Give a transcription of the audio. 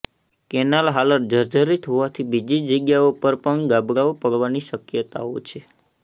canal હાલત જર્જરીત હોવાથી બીજી જગ્યાઓ પર પણ ગાબડાઓ પડવાની શક્યતાઓ છે